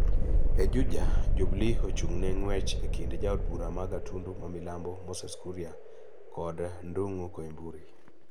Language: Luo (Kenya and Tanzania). E Juja, Jubilee ochung'ne ng'wech e kind jaod bura ma Gatundu ma Milambo Moses Kuria kod Ndung'u Koimburi